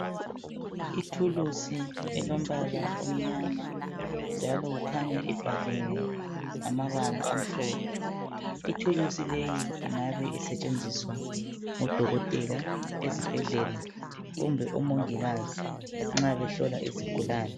Ithuluzi elombala omyama njalo kukhanya ibhaliwe amabala amhlophe, ithuluzi leyi ingabe isetshenziswa ngodokotela ezibhedlela kumbe umongikazi nxa behlola izigulane